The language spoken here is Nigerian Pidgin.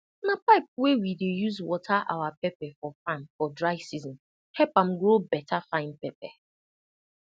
na pipe wey we dey use water our pepper for farm for dry season help am grow better fine pepper